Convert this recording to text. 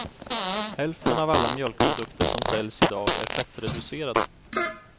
Hälften av alla mjölkprodukter som säljs idag är fettreducerade.